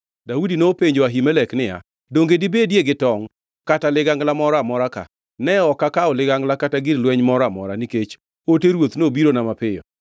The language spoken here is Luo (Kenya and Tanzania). Daudi nopenjo Ahimelek niya, “Donge dibedie gi tongʼ kata ligangla moro amora ka? Ne ok akawo ligangla kata gir lweny moro amora, nikech ote ruoth nobirona mapiyo.”